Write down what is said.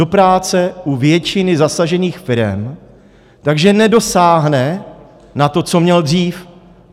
Do práce u většiny zasažených firem, takže nedosáhne na to, co měl dřív.